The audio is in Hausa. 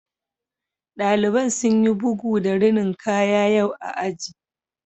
Ɗaliban sun yi bugu da rinin kaya yau a aji